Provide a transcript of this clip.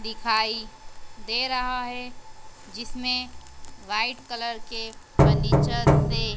दिखाई दे रहा है जिसमें व्हाइट कलर के फर्नीचर से--